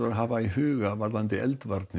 að hafa í huga varðandi eldvarnir